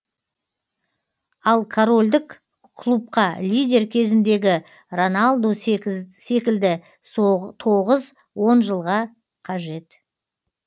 ал корольдік клубқа лидер кезіндегі роналду секілді тоғыз он жылға қажет